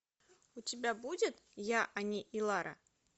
у тебя будет я они и лара